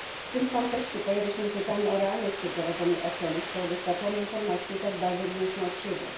W tym kontekście pojawia się pytanie o realność przeprowadzonej oceny, skoro dostarczane informacje tak bardzo różnią się od siebie.